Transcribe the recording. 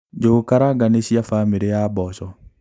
Njũgukaranga nĩ cia bamĩrĩ ya mboco.